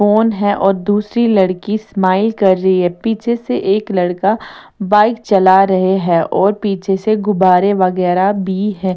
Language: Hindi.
फोन है और दूसरी लड़की स्माइल कर रही है पीछे से एक लड़का बाइक चला रहे हैं और पीछे से गुब्बारे वगैरा भी है।